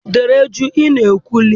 Dịrị jụụ! Ị na-ekwulu.